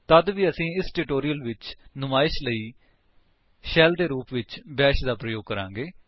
ਤਦ ਵੀ ਅਸੀ ਇਸ ਟਿਊਟੋਰਿਅਲ ਵਿੱਚ ਨੁਮਾਇਸ਼ ਲਈ ਸ਼ੈਲ ਦੇ ਰੂਪ ਵਿੱਚ ਬੈਸ਼ ਦਾ ਪ੍ਰਯੋਗ ਕਰਾਂਗੇ